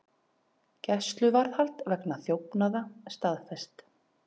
Gæsluvarðhald vegna þjófnaða staðfest